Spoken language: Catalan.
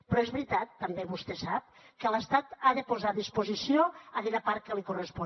però és veritat també vostè ho sap que l’estat ha de posar a disposició aquella part que li correspon